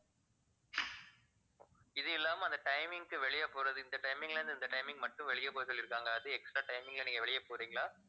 இது இல்லாம அந்த timing க்கு வெளிய போறது இந்த timing ல இருந்து இந்த timing மட்டும் வெளிய போக சொல்லிருக்காங்க அது extra timing ல நீங்க வெளிய போறிங்களா